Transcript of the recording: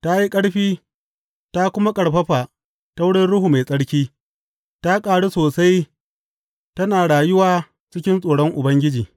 Ta yi ƙarfi; ta kuma ƙarfafa ta wurin Ruhu Mai Tsarki, ta ƙaru sosai tana rayuwa cikin tsoron Ubangiji.